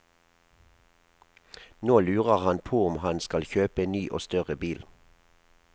Nå lurer han på om han skal kjøpe en ny og større bil.